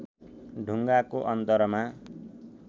ढुङ्गाको अन्तरमा